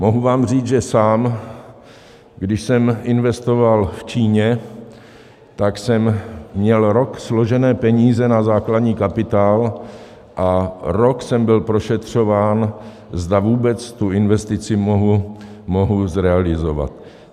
Mohu vám říct, že sám, když jsem investoval v Číně, tak jsem měl rok složené peníze na základní kapitál a rok jsem byl prošetřován, zda vůbec tu investici mohu zrealizovat.